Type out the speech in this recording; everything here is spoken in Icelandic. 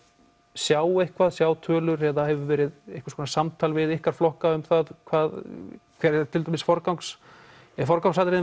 sjá eitthvað sjá tölur eða verið einhvers konar samtal við ykkar flokka um hver til dæmis forgangsatriðin forgangsatriðin